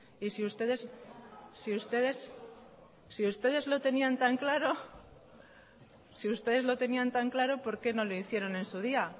si ustedes lo tenían tan claro por qué no lo hicieron en su día